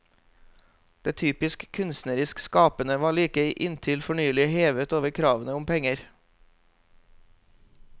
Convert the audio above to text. Det typisk kunstnerisk skapende var like inntil fornylig hevet over kravene om penger.